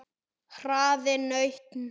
Hraðinn nautn.